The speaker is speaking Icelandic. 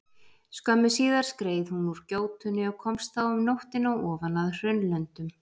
Skömmu síðar skreið hún úr gjótunni og komst þá um nóttina ofan að Hraunlöndum.